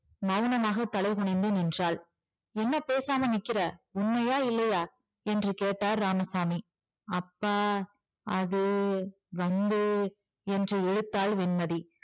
மெளனமாக தலைகுனிந்து நின்றாள். என்ன பேசாம நிக்கிற உண்மையா இல்லையா என்று கேட்டார் இராமசாமி அப்பா அது வந்து என்று இழுத்தாள் வெண்மதி